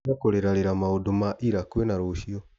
Tiga kũrĩra rĩra maũndũ ma ira kwĩna rũcio.